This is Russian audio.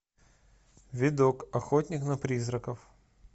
видок охотник на призраков